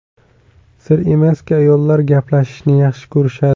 Sir emaski, ayollar gaplashishni yaxshi ko‘rishadi.